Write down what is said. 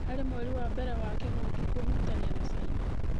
Harĩ mweri wa mbere wa kĩng'ũki kũhutania na Chaina